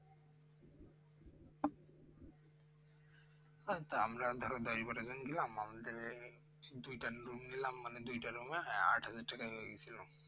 আমরা দুজনে গিয়েছিলাম আমাদের এই দুইটা room নিলাম মানে দুইটা room এ আট হাজার নিয়ে নিয়েছিল